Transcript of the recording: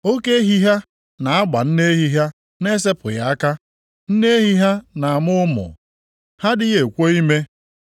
Oke ehi ha na-agba nne ehi ha na-esepụghị aka; nne ehi ha na-amụ ụmụ, ha adịghị ekwo ime.